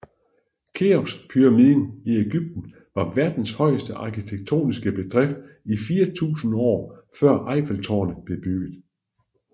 Keopspyramiden i Egypten var verdens højeste arkitektoniske bedrift i 4000 år før Eiffeltårnet blev bygget